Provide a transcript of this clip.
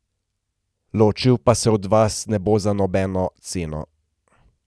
Ločil pa se od vas ne bo za nobeno ceno.